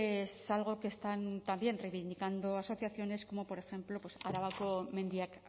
es algo que están también reivindicando asociaciones como por ejemplo arabako mendiak